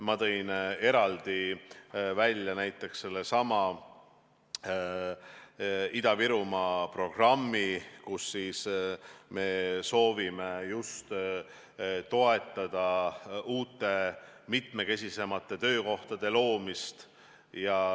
Ma tõin eraldi välja näiteks sellesama Ida-Virumaa programmi, kus me soovime just toetada uute, mitmekesisemate töökohtade loomist.